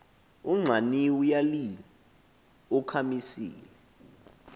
unxaniwe uyalil ukhamisile